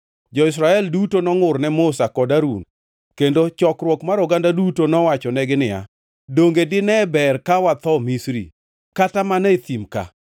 Jo-Israel duto nongʼur ne Musa kod Harun, kendo chokruok mar oganda duto nowachonegi niya, “Donge dine ber ka watho Misri? Kata mana e thim ka!